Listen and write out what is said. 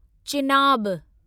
Chenab